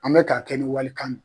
An bɛ ka kɛ ni walikan ye